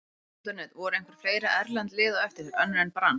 Fótbolti.net: Voru einhver fleiri erlend lið á eftir þér, önnur en Brann?